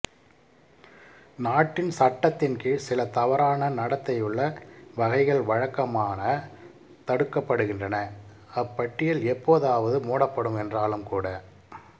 நாட்டின் சட்டத்தின் கீழ் சில தவறான நடத்தையுள்ள வகைகள் வழக்கமாக தடுக்கப்படுகின்றன அப்பட்டியல் எப்போதாவது மூடப்படும் என்றாலும் கூட